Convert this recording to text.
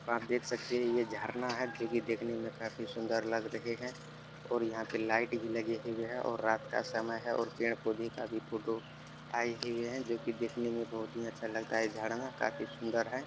आप देख सकते हैं ये झरना है जो कि देखने में काफी सुंदर लग रहे है और यहाँ पे लाइट भी लगी हुए है और रात का समय है और पेड़-पौधे का भी फ़ोटो आई हुई है जोकि देखने में बहोत ही अच्छा लगता है झड़ना काफी सुंदर है।